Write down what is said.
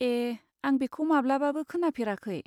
ए, आं बेखौ माब्लाबाबो खोनाफेराखै।